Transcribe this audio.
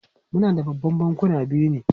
Muna da Babban Bankuna biyu ne?